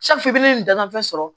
nin dataafan sɔrɔ